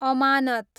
अमानत